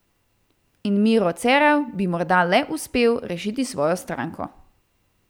In Miro Cerar bi morda le uspel rešiti svojo stranko.